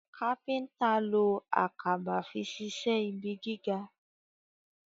kápẹ́ńtà ló Àkàbà fí ṣiṣe ibí gíga.